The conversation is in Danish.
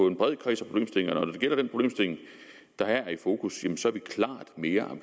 en bred kreds af problemstillinger og når det gælder den problemstilling der er i fokus så er vi klart mere